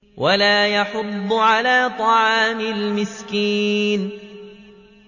وَلَا يَحُضُّ عَلَىٰ طَعَامِ الْمِسْكِينِ